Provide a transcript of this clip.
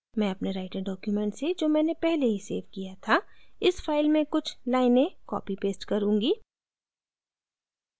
मैं अपने writer document से जो मैंने पहले ही सेव किया था इस फाइल में कुछ लाइनें copy paste करुँगी